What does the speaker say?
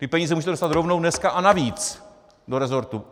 Ty peníze můžete dostat rovnou dneska a navíc do resortu.